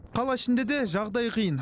қала ішінде де жағдай қиын